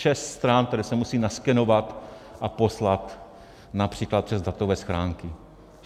Šest stran, které se musí naskenovat a poslat například přes datové schránky.